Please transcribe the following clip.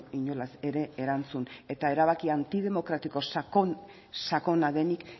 inolaz ere erantzun eta erabaki antidemokratiko sakon sakona denik